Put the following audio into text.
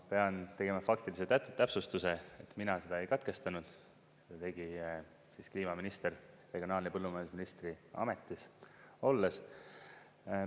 Ma pean tegema faktilise täpsustuse, et mina seda ei katkestanud, tegi kliimaminister regionaal- ja põllumajandusministri ametis olles.